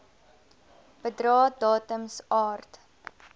bedrae datums aard